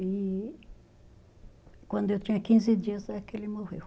E quando eu tinha quinze dias, é que ele morreu.